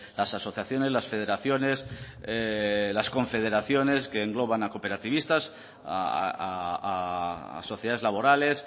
las asociaciones las federaciones las confederaciones que engloban a cooperativistas a sociedades laborales